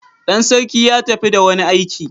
Dan sarki ya tafi da wani aiki.